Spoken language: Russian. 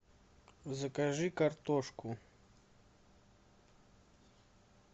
закажи картошку